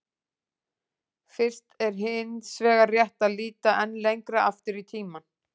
Fyrst er hins vegar rétt að líta enn lengra aftur í tímann.